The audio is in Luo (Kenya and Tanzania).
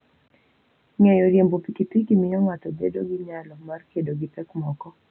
Ng'eyo riembo pikipiki miyo ng'ato bedo gi nyalo mar kedo gi pek moko.